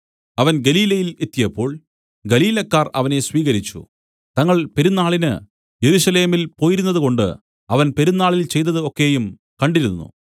അവൻ ഗലീലയിൽ എത്തിയപ്പോൾ ഗലീലക്കാർ അവനെ സ്വീകരിച്ചു തങ്ങൾ പെരുന്നാളിന് യെരൂശലേമിൽ പോയിരുന്നതുകൊണ്ട് അവൻ പെരുന്നാളിൽ ചെയ്തതു ഒക്കെയും കണ്ടിരുന്നു